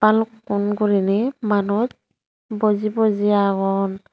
balukkun guriney manuj boji boji agon.